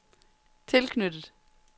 tilknyttet